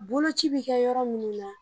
Boloci bɛ kɛ yɔrɔ minnu na.